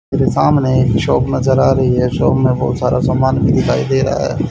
मेरे सामने एक शॉप नजर आ रही है शॉप में बहुत सारा समान दिखाई दे रहा है।